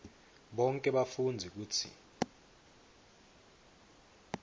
bonkhe bafundzi kutsi